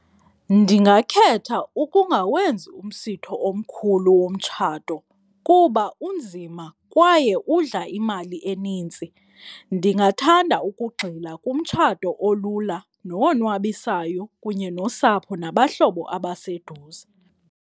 Ndingakhetha ukungawenzi umsitho omkhulu womtshato kuba unzima kwaye udla imali enintsi, ndingathanda ukugxila kumtshato olula nowonwabisayo kunye nosapho nabahlobo abaseduze.